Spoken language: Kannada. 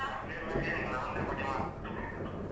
ನಮ್ಗೆ ಎಲ್ಲಾ ಒಂದೆ ಹೊಡೆಯುದ್ ಮಾತ್ರ.